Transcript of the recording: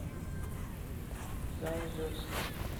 заозерска